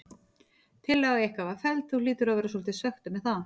Tillaga ykkar var felld, þú hlýtur að vera svolítið svekktur með það?